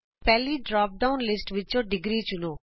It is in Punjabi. ਪਹਿਲੀ ਡ੍ਰਾਪ ਡਾਉਨ ਲਿਸਟ ਵਿਚੋਂ ° ਚੁਣੋ